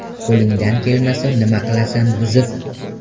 Qo‘lingdan kelmasa nima qilasan buzib?